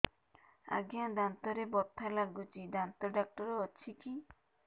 ଆଜ୍ଞା ଦାନ୍ତରେ ବଥା ଲାଗୁଚି ଦାନ୍ତ ଡାକ୍ତର ଅଛି କି